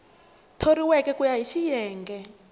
thoriweke ku ya hi xiyenge